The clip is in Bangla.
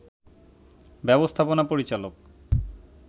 ব্যবস্থাপনা পরিচালক